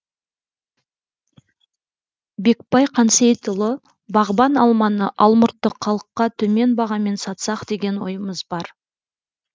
бекбай қансейітұлы бағбан алманы алмұртты халыққа төмен бағамен сатсақ деген ойымыз бар